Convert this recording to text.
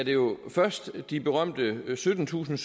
jo først de berømte syttentusinde